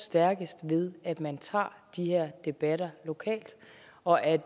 stærkest ved at man tager de her debatter lokalt og at